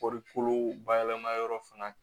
Kɔɔrikolo bayɛlɛma yɔrɔ fana